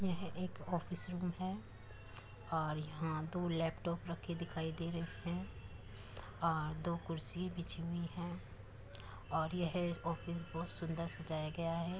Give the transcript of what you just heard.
यह एक office room है और यहाँ दो लैपटॉप रखे दिखाई दे रहे है और दो कुर्सी बिछी हुई है और यह ऑफिस बहुत सुन्दर सजाया गया है।